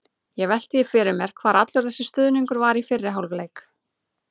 Ég velti því fyrir mér hvar allur þessi stuðningur var í fyrri hálfleik?